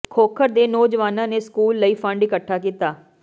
ਖੋਖਰ ਦੇ ਨੌਜਵਾਨਾਂ ਨੇ ਸਕੂਲ ਲਈ ਫੰਡ ਇੱਕਠਾ ਕੀਤਾ